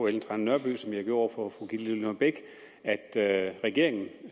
ellen trane nørby som jeg gjorde over for fru gitte lillelund bech at regeringen